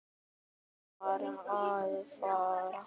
Hvert var ég að fara?